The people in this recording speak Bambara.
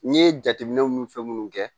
N ye jateminɛw ni fɛn munnu kɛ